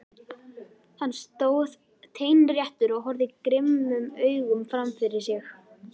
Hann stóð teinréttur og horfði grimmum augum fram fyrir sig.